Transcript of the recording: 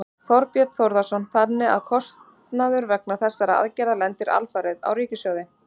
Þorbjörn Þórðarson: Þannig að kostnaður vegna þessarar aðgerðar lendir alfarið á ríkissjóði?